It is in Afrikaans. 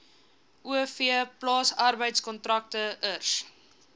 o v plaasarbeidkontrakteurs